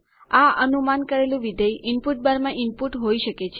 આ અનુમાન કરેલું વિધેય ઇનપુટ બારમાં ઇનપુટ હોઇ શકે છે